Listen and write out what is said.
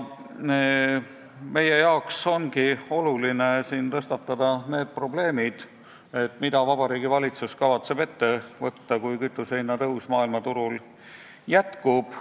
Meie jaoks ongi oluline tõstatada siin need probleemid, mida kavatseb Vabariigi Valitsus ette võtta, kui kütusehinna tõus maailmaturul jätkub.